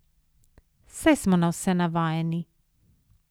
Saj smo na vse navajeni.